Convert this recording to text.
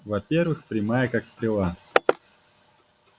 во-первых прямая как стрела